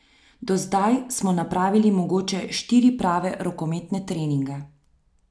Do zdaj smo napravili mogoče štiri prave rokometne treninge.